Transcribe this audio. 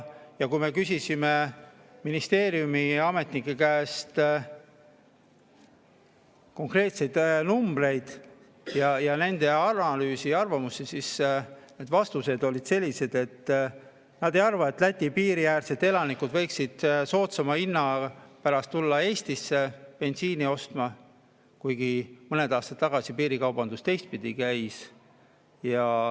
Kui me küsisime ministeeriumi ametnike käest konkreetseid numbreid, nende analüüsi ja arvamusi, siis vastused olid sellised, et nad ei arva, et Läti piiri äärsed elanikud võiksid soodsama hinna pärast tulla Eestisse bensiini ostma, kuigi mõned aastad tagasi piirikaubandus teistpidi käis.